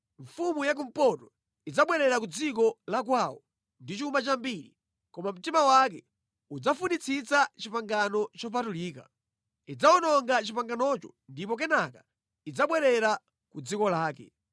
Mfumu ya kumpoto idzabwerera ku dziko la kwawo ndi chuma chambiri, koma mtima wake udzafunitsitsa pangano lopatulika. Idzawononga panganolo ndipo kenaka idzabwerera ku dziko lake.